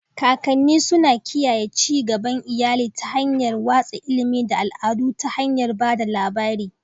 kakanni suna kiyaye ci gaban iyali ta hanyar watsa ilimi da al'adu ta hanyar ba da labari.